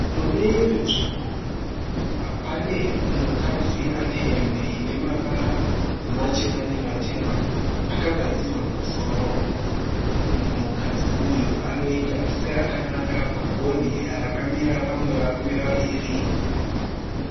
Mune imwe nzvimbo pane mukadzi ane hembe ine mavara machena nematema. Akagadzirwa musoro. Mukadzi uyu anoita seakananga pagonhi rakamira vamwe varume vaviri.